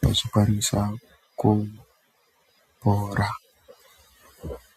vechikwanisa kupora.